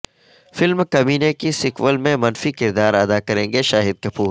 film Kaminey کے sequel میں منفی کردار ادا کریں گے شاہد کپور